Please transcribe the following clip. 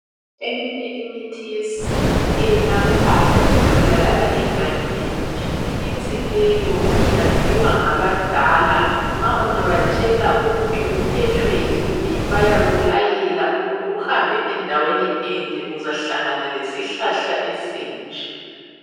Eminye imithi yesintu eyelaphayo itholakala egangeni. Imithi leyo iyaziwa ngabadala. Nxa ungabatshela ukuthi uphethwe yini bayakulayela ukuthi uhambe endaweni enje uzahlangana lesihlahla esinje.